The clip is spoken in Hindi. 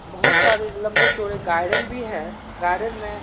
बहुत सारे लम्बे-चौड़े गार्डन भी है गार्डन में --